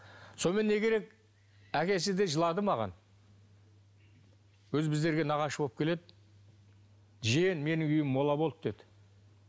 сонымен не керек әкесі де жылады маған өзі біздерге нағашы болып келеді жиен менің үйім мола болды деді